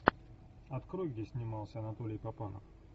открой где снимался анатолий папанов